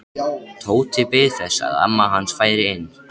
Tóti beið þess að amma hans færi inn.